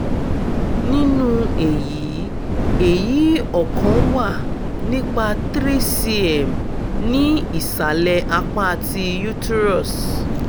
ninu eyi eyi ọkan wà nipa three cm ni isalẹ apa ti uterus